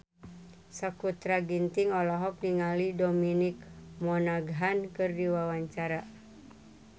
Sakutra Ginting olohok ningali Dominic Monaghan keur diwawancara